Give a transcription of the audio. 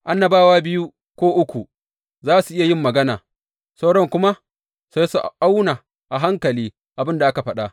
Annabawa biyu ko uku za su iya yin magana, sauran kuma sai su auna a hankali abin da aka faɗa.